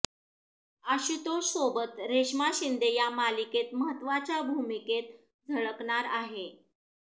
आशुतोषसोबत रेशमा शिंदे या मालिकेत महत्त्वाच्या भूमिकेत झळकणार आहे